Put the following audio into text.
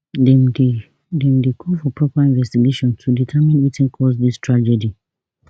dem dey dem dey call for proper investigation to determine wetin cause dis tragedy